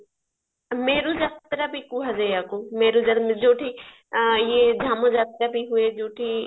ମେରୁ ଯାତ୍ରା ବି କୁହ ଯାଏ ୟାକୁ ଯୋଉଠି ଇଏ ଯାତ୍ରା ବି ହୁଏ ଯୋଉଠି